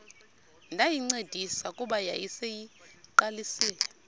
ndayincedisa kuba yayiseyiqalisile